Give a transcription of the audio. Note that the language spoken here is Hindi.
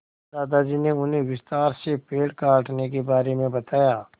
दादाजी ने उन्हें विस्तार से पेड़ काटने के बारे में बताया